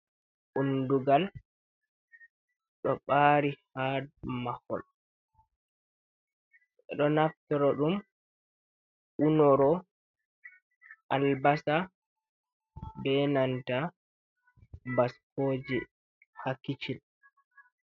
Undungal ɗo ɓari ha mahol ɗo naftro ɗum unoro albasa be nanta baskoje ha kicin.